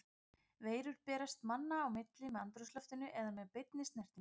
Veirur berast manna á milli með andrúmsloftinu eða með beinni snertingu.